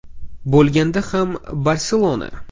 Bo‘lganda ham “Barselona”.